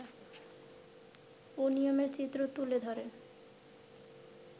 অনিয়মের চিত্র তুলে ধরে